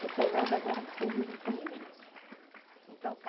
Sou casada agora porque eu vivo com ele, né? Então